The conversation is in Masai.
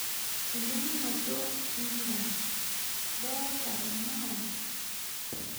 Elimunoto empisha; idoolta irmao?